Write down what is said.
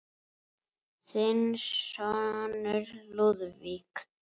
Þinn sonur, Lúðvík.